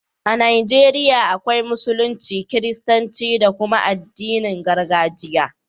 A Najeriya akwai Musulunci, Kiristanci da kuma addinin gargajiya.